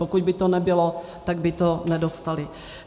Pokud by to nebylo, tak by to nedostali.